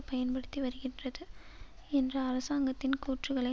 பயன்படுத்தி வருகின்றது என்ற அரசாங்கத்தின் கூற்றுக்களை